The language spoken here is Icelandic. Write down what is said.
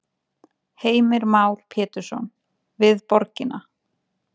Heimir Már Pétursson: Við borgina?